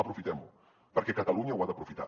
aprofitem ho perquè catalunya ho ha d’aprofitar